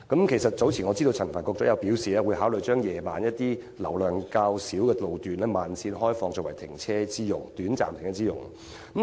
我知道陳帆局長早前表示，會考慮把一些於晚間車流較少路段的慢線，開放作為短暫停泊車輛之用。